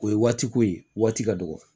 O ye waati ko ye waati ka dɔgɔ